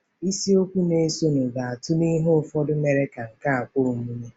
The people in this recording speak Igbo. Isiokwu na-esonụ ga-atụle ihe ụfọdụ mere ka nke a kwe omume.